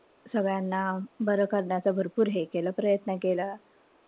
सगळ्यांना बरं करण्याचं भरपूर हे केलं. प्रयत्न केला.